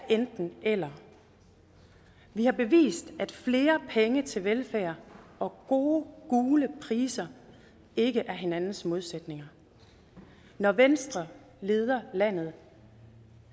enten eller vi har bevist at flere penge til velfærd og gode gule priser ikke er hinandens modsætninger når venstre leder landet